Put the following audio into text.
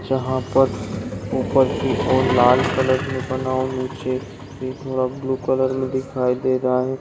यहाँ पर ऊपर की और एक लाल कलर नीचे ब्लू कलर में दिखाई दे रहा है।